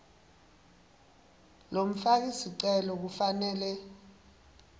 lomfaki sicelo kufanele